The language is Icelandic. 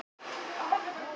SAUMA- OG PRJÓNASKAPUR